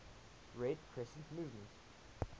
red crescent movement